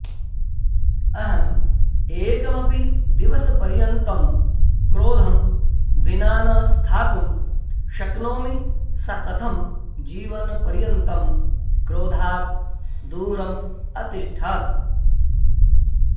अहम् एकमपि दिवसपर्यन्तं क्रोधं विना न स्थातुं शक्नोमि सा कथं जीवनपर्यन्तं क्रोधात् दूरम् अतिष्ठत्